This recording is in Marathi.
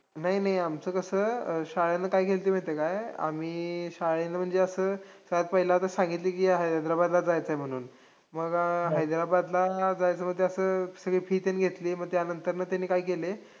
नाही नाही आमचं कसं? शाळेनं काय केल्तंय माहितीये काय? आम्ही शाळेनं म्हणजे असं पहिले असं सांगितलं की हैद्राबादला जायचंय म्हणून. मग हैद्राबादला जायचं म्हणजे असं सगळं fee तेन घेतलीये मग त्यानंतर त्यांनी काय केलंय,